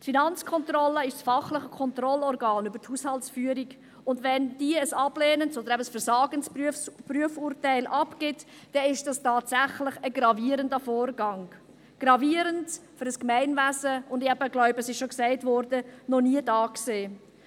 Die FK ist das fachliche Kontrollorgan über die Haushaltsführung, und wenn diese ein ablehnendes oder eben versagendes Prüfurteil abgibt, dann ist das tatsächlich ein gravierender Vorgang, gravierend für ein Gemeinwesen, und eben – ich glaube, es wurde schon gesagt – noch nie dagewesen.